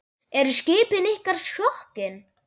Eru skipin ykkar sokkin?